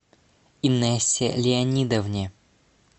инессе леонидовне